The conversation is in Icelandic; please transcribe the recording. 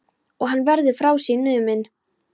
Og hann verður frá sér numinn.